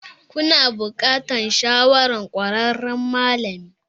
Kuna buƙatar shawarar ƙwararren malami.